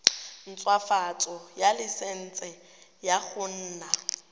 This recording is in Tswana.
ntshwafatsa laesense ya go nna